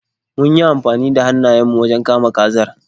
Mun yi amfani da hannayen mu wajen kama kazar.